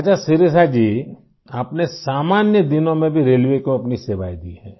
अच्छा शिरिषा जी आपने सामान्य दिनों में भी रेलवे को अपनी सेवाएँ दी हैं